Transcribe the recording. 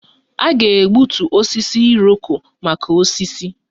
A ga-egbutu osisi Iroko maka osisi